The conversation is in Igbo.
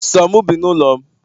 So mu bi n'ulo'm